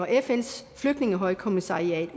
fns flygtningehøjkommissariat